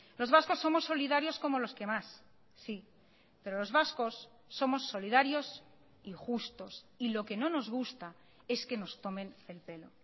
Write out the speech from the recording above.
los vascos somos solidarios como los que más sí pero los vascos somos solidarios y justos y lo que no nos gusta es que nos tomen el pelo